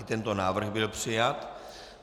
I tento návrh byl přijat.